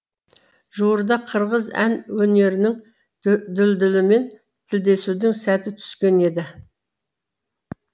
жуырда қырғыз ән өнерінің дүлдүлімен тілдесудің сәті түскен еді